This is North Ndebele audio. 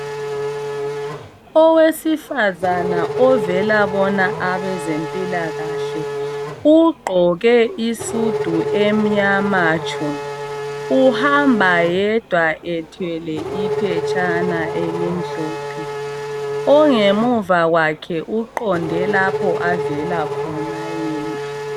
Owesifazana ovela bona abezempilakahle ugqoke isudu emnyama tshu, uhamba yedwa ethwele iphetshana elimhlophe, ongemuva kwakhe uqonde lapho avela khona yena.